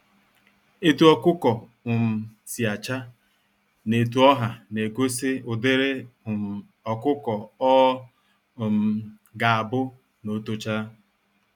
Etu ọkụkọ um si acha, na etu ọha na egosi ụdịrị um ọkụkọ ọ um ga-abu n'otocha